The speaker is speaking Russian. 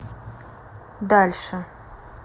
дальше